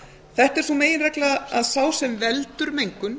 þetta er sú meginregla að sá sem veldur mengun